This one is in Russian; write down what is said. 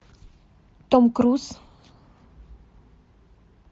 том круз